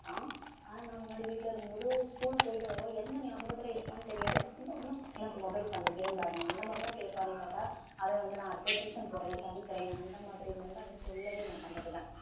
ஆனா நான் முன்னாடி வீட்ல இருக்கும்போது school போயிட்டு வருவோம் என்ன ஞாபகத்துல இருப்பான்னு தெரியாது வந்த உடனே எனக்கு mobile தாங்க game விளையாடணும் அந்த மாதிரிதான் கேட்பானே தவிர அவன் வந்து நான் அடுத்து tuition போறேன் படிக்கிறேன் அந்த மாதிரின்னு வந்து அவன் சொல்லவே மாட்டான் பாத்துக்க